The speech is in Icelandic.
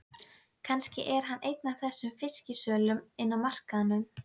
Kannski er hann einn af þessum fisksölum inni á markaðnum.